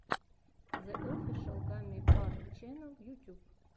зе офишэл гаммибар ченнел ютюб